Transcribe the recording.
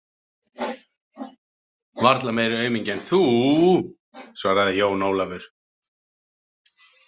Varla meiri aumingi en þú, svaraði Jón Ólafur.